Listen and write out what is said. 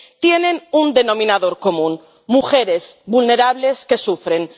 tienen un denominador común mujeres vulnerables que sufren.